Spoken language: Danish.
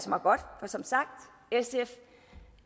mig godt for som sagt